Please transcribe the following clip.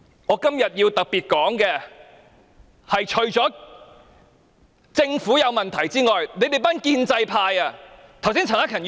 我今天要特別指出，除了政府有問題之外，建制派也有責任。